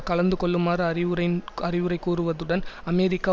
கலந்துகொள்ளுமாறு அறிவுரைன் அறிவுரை கூறுவதுடன் அமெரிக்கா